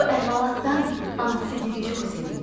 Bu əhvalatdan anasıgil çox sevindilər.